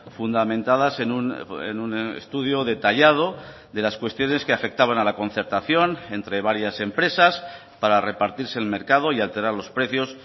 fundamentadas en un estudio detallado de las cuestiones que afectaban a la concertación entre varias empresas para repartirse el mercado y alterar los precios